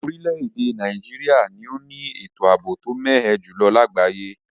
Orílèdè Naijiria ni o ni ètò àbò to mé ẹ jùlo lagbaye